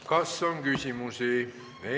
Kas on küsimusi?